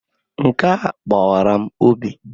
Nkea gbawara m obi.